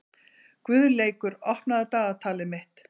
Guðleikur, opnaðu dagatalið mitt.